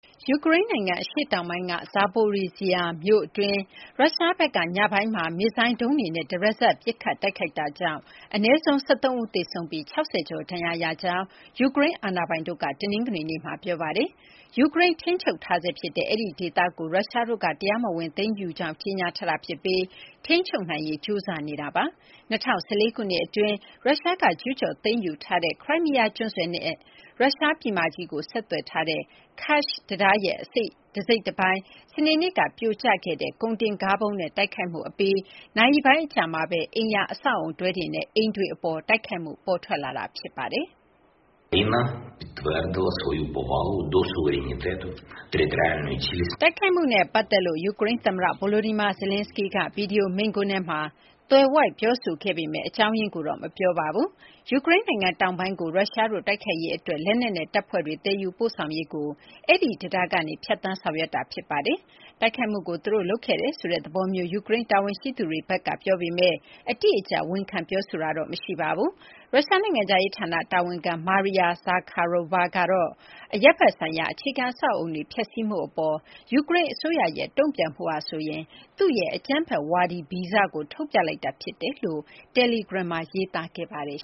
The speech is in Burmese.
ယူကရိန်း နိုင်ငံ အရှေ့တောင်ပိုင်းက Zaporizhzhia မြို့အတွင်း ရုရှားဘက်က ညပိုင်းမှာ မစ်ဇိုင်း ဒုံးတွေနဲ့ တရစပ် ပစ်ခတ်တိုက်ခိုက်တာကြောင့် အနည်းဆုံး ၁၃ ဦး သေဆုံးပြီး ၆၀ ကျော် ဒဏ်ရာရရှိကြောင်း ယူကရိန်း အာဏာပိုင်တို့က တနင်္ဂနွေနေ့မှာ ပြောပါတယ်။ ယူကရိန်း ထိန်းချုပ်ထားဆဲ ဖြစ်တဲ့ အဲဒီ ဒေသကို ရုရှားတို့က တရားမဝင် သိမ်းယူကြောင်း ကြေညာထားတာ ဖြစ်ပြီး ထိန်းချုပ်နိုင်ဖို့ ကြိုးစားနေတာ ဖြစ်ပါတယ်။ ၂၀၁၄ ခုနှစ် အတွင်း ရုရှားက ကျူးကျော် သိမ်းယူထားတဲ့ ခရိုင်းမီးယား ကျွန်းဆွယ်နဲ့ ရုရှား ပြည်မကြီးကို ဆက်သွယ်ထားတဲ့ Kerch တံတားရဲ့ တစိတ်တပိုင်း စနေနေ့က ပြိုကျခဲ့တဲ့ ကုန်တင်ကားဗုံးနဲ့ တိုက်ခိုက်မှု အပြီး နာရီပိုင်း အကြာမှာဘဲ အိမ်ယာ အဆောက်အအုံတွဲတွေနဲ့ အိမ်တွေ အပေါ် တိုက်ခိုက်မှု ပေါ်ထွက်လာတာပါ။ တိုက်ခိုက်မှုနဲ့ ပတ်သက်လို့ ယူကရိန်း သမ္မတ Volodymyr Zelenskyy ကတော့ ဗွီဒီယို မိန့်ခွန်းထဲမှာ သွယ်ဝိုက် ပြောဆိုခဲ့ပေမယ့် အကြောင်းရင်းကိုတော့ မပြောပါဘူး။ ယူကရိန်း နိုင်ငံ တောင်ပိုင်းကို ရုရှားတို့ တိုက်ခိုက်ရေး အတွက် လက်နက်နဲ့ တပ်ဖွဲ့တွေ သယ်ယူပို့ဆောင်ရေးကို Kerch တံတားကနေ ဖြတ်သန်း ဆောင်ရွက်နေတာ ဖြစ်ပါတယ်။ တိုက်ခိုက်မှုကို သူတို့ လုပ်ခဲ့တယ်ဆိုတဲ့ သဘောမျိုး ယူကရိန်း တာဝန်ရှိသူတွေဘက်က ပြောပေမယ့် အတိအကျ ဝန်ခံ ပြောဆိုတာတော့ မရှိပါဘူး။ ရုရှား နိုင်ငံခြားရေး ဌာန တာဝန်ခံ Maria Zakharova ကတော့ အရပ်ဘက် ဆိုင်ရာ အခြေခံ အဆောက်အအုံတွေ ဖျက်စီးမှု အပေါ် ယူကရိန်း အစိုးရရဲ့ တုံ့ပြန်မှုဟာဆိုရင် သူ့ရဲ့ အကြမ်းဖက်ဝါဒီ ဗီဇကို ထုတ်ပြလိုက်တာ ဖြစ်တယ်လို့ တယ်လီဂရမ်မှာ ရေးသားခဲ့ပါတယ်